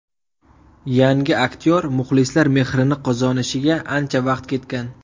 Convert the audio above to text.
Yangi aktyor muxlislar mehrini qozonishiga ancha vaqt ketgan.